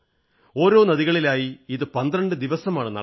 ഓരോ നദികളിലായി ഇത് 12 ദിവസമാണ് നടക്കുക